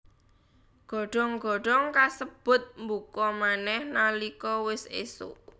Godhong godhong kasebut mbuka manèh nalika wis ésuk